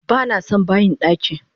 Banason bayin daki!